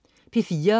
P4: